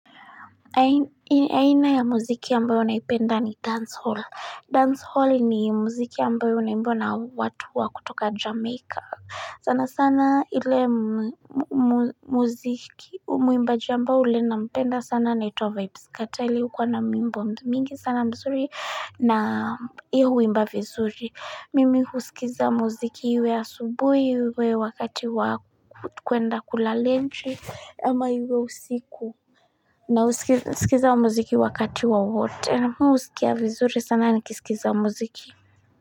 Aina ya muziki ambayo naipenda ni dancehall Dancehall ni muziki ambayo unaimbwa na watu wa kutoka jameika sana sana ile muziki muimbaji ambaye yule nampenda sana anaitwa Vybz Kartel yeye hukuwa na nyimbo mingi sana mzuri na yeye huimba vizuri Mimi husikiza muziki iwe asubuhi iwe wakati wa kwenda kulalente ama iwe usiku Nausikiza muziki wakati wowote, ena husikia vizuri sana nikisikiza muziki.